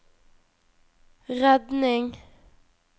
redning